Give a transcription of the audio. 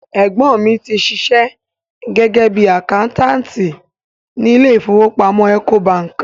Ẹ̀gbọ́n mi ti ṣiṣẹ́ gẹ́gẹ́ bíi àkáńtáàtì ni ilé ìfowópamọ́ Ecobank.